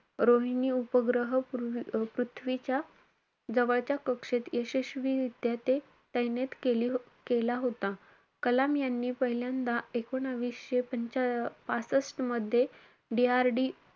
रोहिणी उपग्रह पृ~ पृथ्वीच्या जवळच्या कक्षेत यशस्वीरित्या ते~ तैनेत केली~ केला होता. कलाम यांनी पहिल्यांदा एकूणवीसशे पंचा~ पासष्ट मध्ये, DRD,